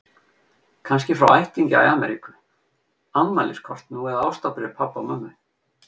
Kannski frá ættingja í Ameríku, afmæliskort nú eða ástarbréf pabba og mömmu.